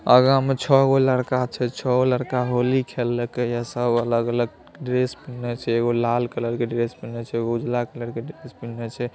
आगे में छे गो लड़का छै छ्वो लड़का होली खेलके या सब अलग-अलग ड्रेस पहने छे एक लाल कलर की ड्रेस पहने छे एगो उजला कलर की ड्रेस पहने छे ।